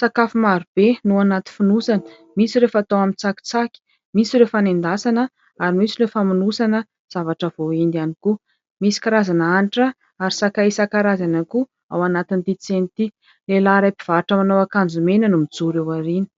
Sakafo marobe no anaty fonosana misy ireo fatao amin'ny tsakitsaky, misy ireo fanendasana ary misy ireo famonosana zavatra voaendy ihany koa. Misy karazana hanitra ary sakay isan-karazany ihany koa ao anatin'ity tsena ity. Lehilahy iray mpivarotra manao akanjo mena no mijoro eo aoriana.